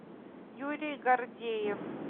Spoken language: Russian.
юрий гордеев